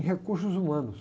Em recursos humanos.